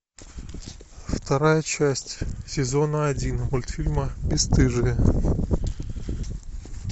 вторая часть сезона один мультфильма бесстыжие